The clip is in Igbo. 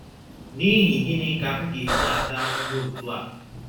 N’ihi gịnị ka m ga - eji ata ahụhụ otú a?